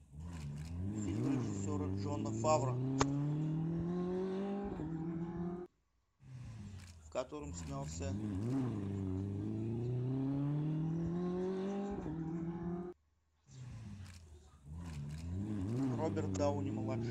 фильм режиссера джона фавро в котором снялся роберт дауни младший